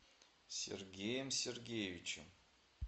сергеем сергеевичем